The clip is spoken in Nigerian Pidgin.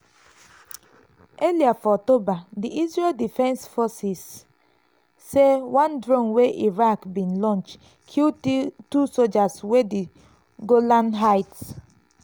earlier for october di israel defense forces (idf) say one drone wey iraq bin launch kill two sojas for di golan heights.